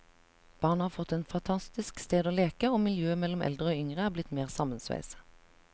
Barna har fått et fantastisk sted å leke, og miljøet mellom eldre og yngre er blitt mer sammensveiset.